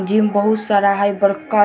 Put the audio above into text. Gym बहुत सारा है ।